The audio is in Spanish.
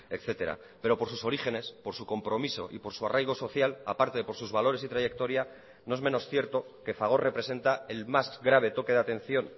etcétera pero por sus orígenes por su compromiso y por su arraigo social a parte de por sus valores y trayectoria no es menos cierto que fagor representa el más grave toque de atención